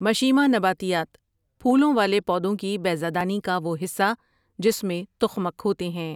مشیمہ نباتیات پھولوں والے پودوں کی بیضہ دانی کا وہ حصہ جس میں تخمک ہوتے ہیں ۔